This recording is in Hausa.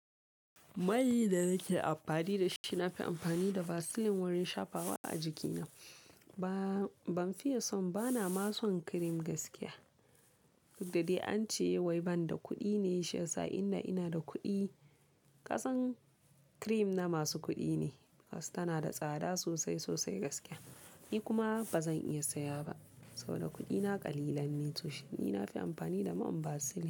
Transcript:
Mai da nake amfani da shi, nafi amfani da vaseline wurin shafawa a jikina. Ba, ban fiye son, bana ma son cream gaskiya. Duk da dai ance wai banda kuɗi ne shi yasa, inda ina da kuɗi, ƙasan cream na masu kuɗi ne. Tana da tsada sosai, sosai gaskiya. Ni kuma bazan iya saya ba saboda kuɗina ƙalilan ne. Ni nafi amfani da man vaseline.